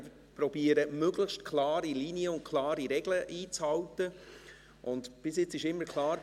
Ich versuche, möglichst klare Linien und möglichst klare Regeln einzuhalten, und bis jetzt war immer klar: